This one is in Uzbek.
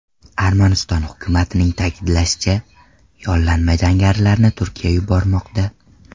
Armaniston hukumatining ta’kidlashicha , yollanma jangarilarni Turkiya yubormoqda.